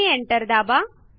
आणि एंटर दाबा